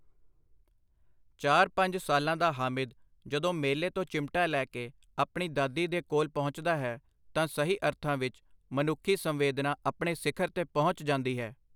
ਚਾਰ/ ਪੰਜ ਸਾਲਾਂ ਦਾ ਹਾਮਿਦ ਜਦੋਂ ਮੇਲੇ ਤੋਂ ਚਿਮਟਾ ਲੈ ਕੇ ਆਪਣੀ ਦਾਦੀ ਦੇ ਕੋਲ ਪਹੁੰਚਦਾ ਹੈ, ਤਾਂ ਸਹੀ ਅਰਥਾਂ ਵਿੱਚ ਮਨੁੱਖੀ ਸੰਵੇਦਨਾ ਆਪਣੇ ਸਿਖ਼ਰ ਤੇ ਪਹੁੰਚ ਜਾਂਦੀ ਹੈ।